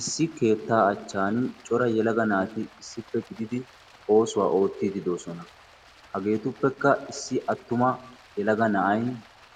Issi keettaa achchan cora yelaga naati issippe gididi oosuwa oottidi de'oosona. Hageetuppekka issi attuma yelaga na'ay